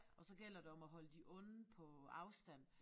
Og så gælder det om at holde de onde på afstand